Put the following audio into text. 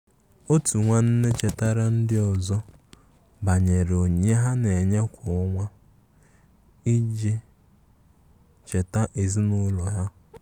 Otu nwanne chetara ndi ọzọ banyere onyinye ha na-enye kwa ọnwa iji na-elekọta ezinụlọ ha.